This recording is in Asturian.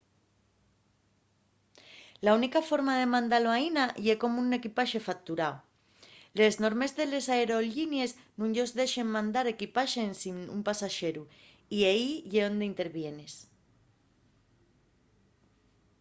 la única forma de mandalo aína ye como equipaxe facturao les normes de les aerollinies nun-yos dexen mandar equipaxe ensin un pasaxeru y ehí ye onde intervienes